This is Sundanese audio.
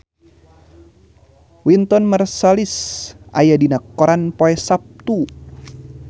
Wynton Marsalis aya dina koran poe Saptu